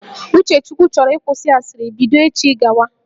Uchechukwu chọrọ ịkwụsị asịrị bido echi gawa